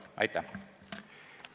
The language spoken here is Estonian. Aitäh!